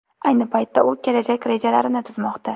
Ayni paytda u kelajak rejalarini tuzmoqda.